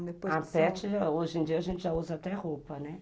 A pete, hoje em dia, a gente já usa até roupa, né?